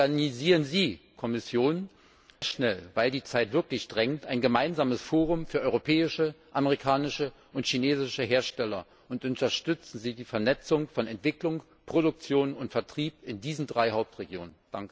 Organisieren Sie als Kommission sehr schnell weil die Zeit wirklich drängt ein gemeinsames Forum für europäische, amerikanische und chinesische Hersteller und unterstützen Sie die Vernetzung von Entwicklung, Produktion und Vertrieb in diesen drei Hauptregionen.